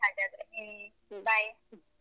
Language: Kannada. ಸರಿ ಹಾಗಾದ್ರೆ ಹ್ಮ bye .